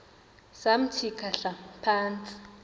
samthi khahla phantsi